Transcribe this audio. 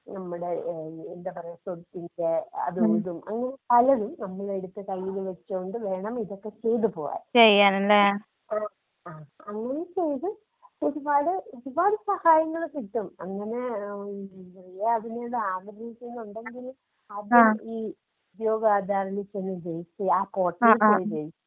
നമ്മടെ ഏഹ് എന്താ പറയ *നോട്ട്‌ ക്ലിയർ* അതും ഇതും അങ്ങനെ പലതും നമ്മളെടുത്ത് കയ്യില് വെച്ചോണ്ട് വേണം ഇതൊക്കെ ചെയ്ത് പോവാൻ. ആഹ് അങ്ങനെ ചെയ്ത് ഒരുപാട്, ഒരുപാട് സഹായങ്ങള് കിട്ടും.അങ്ങനേ റിയ അതിന് ആഗ്രഹിക്കുന്നുണ്ടെങ്കില്. അത് ഈ ഉദ്യോഗാധാറിൽ ചെന്ന് രെജിസ്റ്ററീയാ ആ പോര്‍ട്ടലില്‍ പോയി രജിസ്റ്റർ.